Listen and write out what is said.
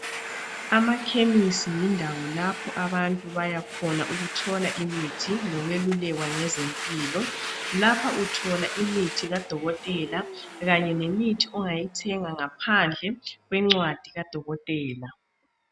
Amakhemisi yindawo lapho abantu baya khona ukuthola imithi lokweluleka ngezempilo. Lapha uthola imithi kudokotela kanye lemithi ongayithenga ngaphandle kwencwadi kadokotela.